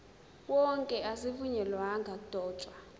wonke azivunyelwanga ukudotshwa